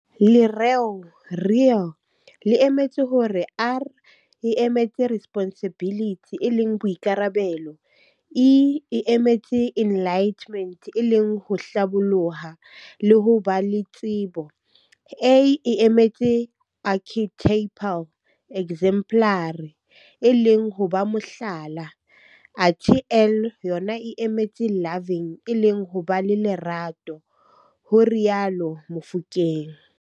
Lereo "Real" le emetse hore R e emetse Responsibility e leng Boikarabelo, E e emetse Enlightenment e leng ho Hlaboloha le ho ba le tsebo, A e emetse Archetypal, exemplary, e leng ho ba Mohlala, athe L yona e emetse Loving e leng ho ba le Lerato," ho rialo Mofokeng.